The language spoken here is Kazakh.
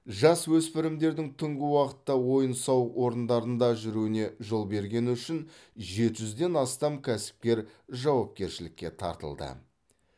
жасөспірімдердің түнгі уақытта ойын сауық орындарында жүруіне жол бергені үшін жеті жүзден астам кәсіпкер жауапкершілікке тартылды